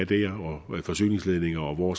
med forsyningsledninger og hvor